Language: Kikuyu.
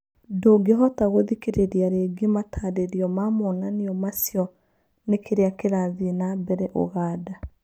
Ndũngĩhota gũthikĩrĩria rĩngĩ matarario ma monanio macio nĩkĩrĩa kĩrathiĩ na mbere ũganda.